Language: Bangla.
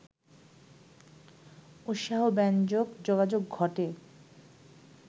উৎসাহব্যঞ্জক যোগাযোগ ঘটে